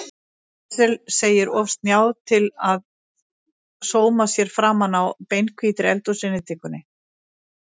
Axel segir of snjáð til að sóma sér framan á beinhvítri eldhúsinnréttingunni.